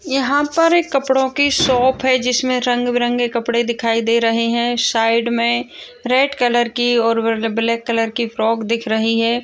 यहाँ पर एक कपड़ों की शॉप है जिसमे रंग-बिरंगे कपड़े दिखाई दे रहे हैं शाइड में रेड कलर की और ब्लैक कलर की फ्रॉक दिख रही है।